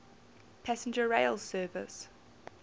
passenger rail service